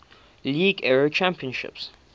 league era champions